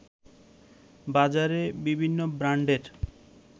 বাজারে বিভিন্ন ব্রান্ডের